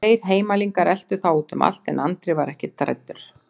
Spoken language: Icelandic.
Tveir heimalningar eltu þá út um allt en Andri var ekkert hræddur.